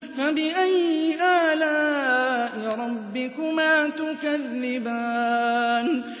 فَبِأَيِّ آلَاءِ رَبِّكُمَا تُكَذِّبَانِ